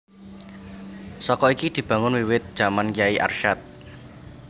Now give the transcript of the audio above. Saka iki dibangun wiwit jaman Kyai Arsyad